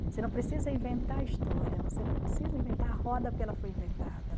Você não precisa inventar a história, você não precisa inventar a roda porque ela foi inventada.